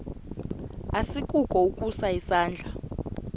asikukho ukusa isandla